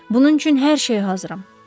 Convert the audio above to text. Bunun üçün hər şeyə hazıram.